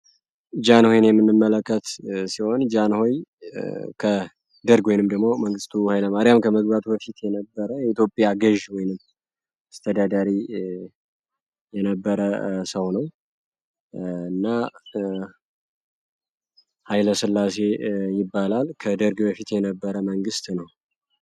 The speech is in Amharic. ጃን ሆይን የሚምመለከት ሲሆን፤ ጃን ሆይ ከደርግ ወይንም ድሞ መንግስቱ ሀይለ ማሪያም ከመግባቱ በፊት የነበረ የኢትዮጵያ ገዥ ወይንም እስተዳዳሪ የነበረ ሰው ነው። እና ኃይለ ስላሴ ይባላል፤ ከደርግ በፊት የነበረ መንግሥት ነው።